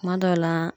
Kuma dɔw la